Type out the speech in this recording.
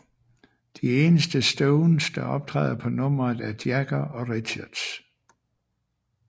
De eneste Stones der optræder på nummeret er Jagger og Richards